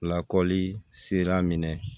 Lakɔli sera minɛ